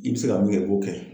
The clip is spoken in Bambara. I bi be se ka mun kɛ i b'o kɛ